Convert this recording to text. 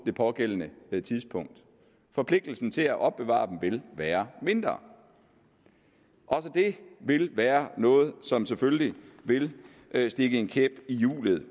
det pågældende tidspunkt forpligtelsen til at opbevare dem vil være mindre også det vil være noget som selvfølgelig vil stikke en kæp i hjulet